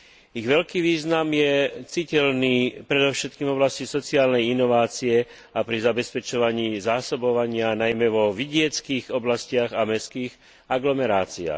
Ich veľký význam je citeľný predovšetkým v oblasti sociálnej inovácie a pri zabezpečovaní zásobovania, najmä vo vidieckych oblastiach a mestských aglomeráciách.